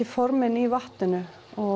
formin í vatninu